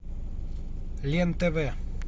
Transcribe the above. лен тв